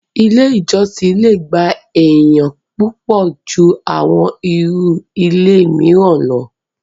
ilé ìjọsìn le gba èèyàn púpọ̀ ju àwọn irú ilé mìíràn lọ.